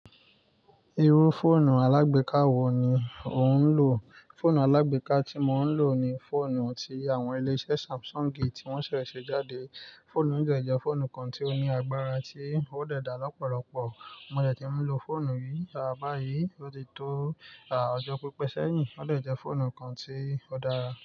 Irú fóònù alágbéka wo ni ò ń lò? Fóònù alágbéka tí mò ń lò ni fóònù tí àwọn iléṣẹ́ Samsung ti wọ̀ń ṣẹ̀ ṣe jáde. Fóònù yí dẹ́ fóònù kan tí ó ní agbára tí ó dèé da lọ́pọ̀lọpọ̀. Mo dẹ̀ tí ú ń lo fóònù yìí á bàáyí, ó ti tó à ọjọ́ pípẹ́ sẹ́yìn. Ó dẹ̀jẹ́ fóònù kan tí ó dára.